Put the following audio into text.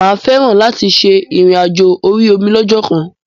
Mà á fẹ́ràn láti ṣe ìrìn àjò orí omi lọ́jọ́kan.